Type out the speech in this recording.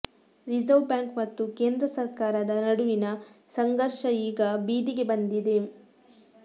reserve bank ಮತ್ತು ಕೇಂದ್ರ ಸರಕಾರದ ನಡುವಿನ ಸಂಘರ್ಷ ಈಗ ಬೀದಿಗೆ ಬಂದಿದೆ